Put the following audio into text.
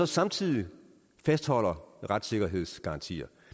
samtidig fastholder retssikkerhedsgarantier